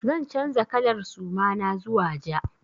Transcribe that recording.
Zan canza kalar suma na zuwa ja.